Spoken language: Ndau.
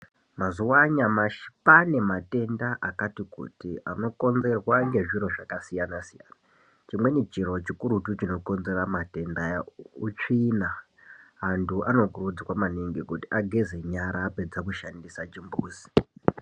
Mazuwa anyamashi kwaane matenda akati kuti anokonzerwa nvezviro zvakasiyana siyana . Chimweni chiro chikurutu chinokonzera matendaya utsvina antu anokurudzirwa maningi kuti ageze nyara apedze kushandise chimbuzi.